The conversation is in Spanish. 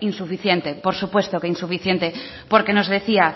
insuficiente por supuesto que insuficiente porque nos decía